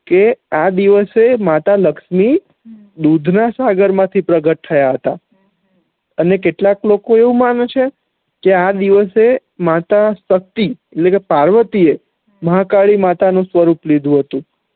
કે આ દિવશે માતા લક્ષ્મી દૂધ ના સાગર માંથી પ્રગટ થયા હતા અને કેટલાક લોકો આવું માને છે કે આ દિવશે માતા શક્તિ એટલે કે પાર્વતી એ મહાકાળી નુ સ્વરૂપ લીધું હતુ